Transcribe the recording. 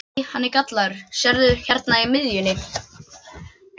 Nei, hann er gallaður, sérðu hérna í miðjunni.